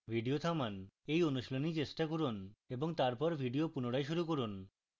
video থামান এই অনুশীলনী চেষ্টা করুন এবং তারপর video পুনরায় শুরু করুন